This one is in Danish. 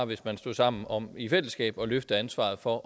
hvis man stod sammen om i fællesskab at løfte ansvaret for